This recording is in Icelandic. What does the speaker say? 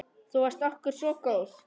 Þú varst okkur svo góð.